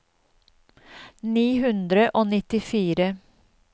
ni hundre og nittifire